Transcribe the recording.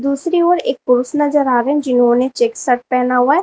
दूसरी ओर एक पुरुष नजर आ रहे है जिन्होंने चेक शर्ट पहना हुआ है।